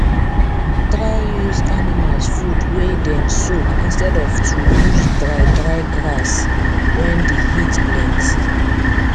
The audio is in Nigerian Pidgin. try use animals food wey dem soak instead of to use dry dry grass wen d heat plenty